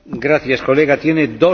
Panie Przewodniczący!